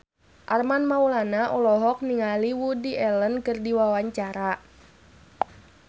Armand Maulana olohok ningali Woody Allen keur diwawancara